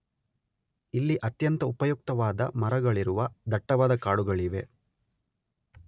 ಇಲ್ಲಿ ಅತ್ಯಂತ ಉಪಯುಕ್ತವಾದ ಮರಗಳಿರುವ ದಟ್ಟವಾದ ಕಾಡುಗಳಿವೆ